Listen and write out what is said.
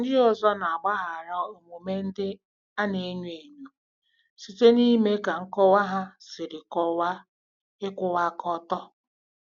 Ndị ọzọ na-agbaghara omume ndị na-enyo enyo site n'ime ka nkọwa ha si kọwaa ịkwụwa aka ọtọ.